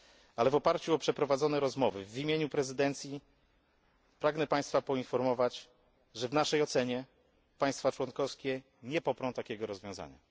ale w oparciu o przeprowadzone rozmowy, w imieniu prezydencji, pragnę Państwa poinformować, że w naszej ocenie państwa członkowskie nie poprą takiego rozwiązania.